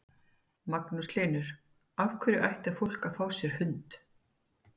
Magnús Hlynur: Af hverju ætti fólk að fá sér hund?